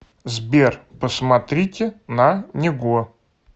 сбер посмотрите на него